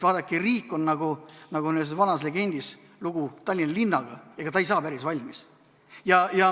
Vaadake, riigiga on nii, nagu on ühes legendis Tallinna linnaga: ega ta ei saa päris valmis.